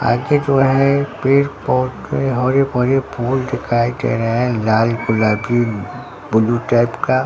आगे जो है पेड़ पौधे हरे भरे फूल दिखाई दे रहे है लाल गुलाबी ब्लू टाइप का।